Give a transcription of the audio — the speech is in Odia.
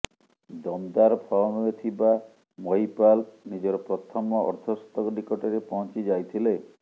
ଦମଦାର ଫର୍ମରେ ଥିବା ମହିପାଲ ନିଜର ପ୍ରଥମ ଅର୍ଦ୍ଧଶତକ ନିକଟରେ ପହଞ୍ଚି ଯାଇଥିଲେ